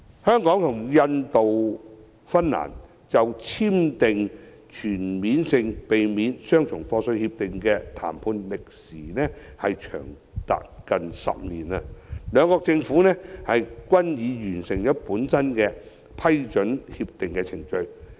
香港與印度及芬蘭就全面性協定的談判歷時近10年，兩國政府均已各自完成批准全面性協定的程序。